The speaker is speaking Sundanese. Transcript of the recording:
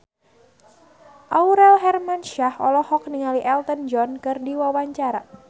Aurel Hermansyah olohok ningali Elton John keur diwawancara